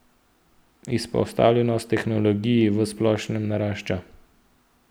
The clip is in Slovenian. Izpostavljenost tehnologiji v splošnem narašča.